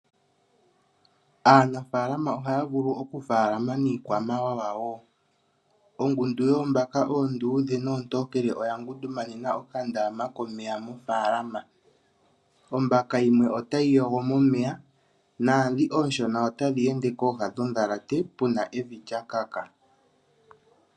Aanafalama oha vulu oku falama niikwamawawa , ongundu yoombaka oondudhe nontokele oya gundu manena okandama komeya mofalama . Ombaka yimwe otayi yogo omeya nadhi oshoona otadhi ende kooha dhodhalate puna evi lya kaka.